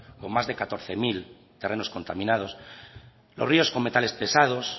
con más de catorce mil terrenos contaminados los ríos con metales pesados